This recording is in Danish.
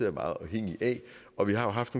er meget afhængige af og vi har jo haft